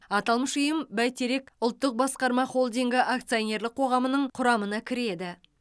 аталмыш ұйым бәйтерек ұлттық басқарма холдингі акционерлік қоғамының құрамына кіреді